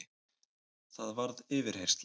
Það varð yfirheyrsla.